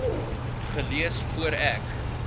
gelees voor ek